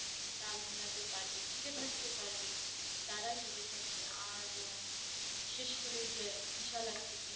তাল মিলাতে পারবে টিকে থাকতে পারবে তারাই টিকে থাকবে আর বিশেষ করে বিশাল আকৃতি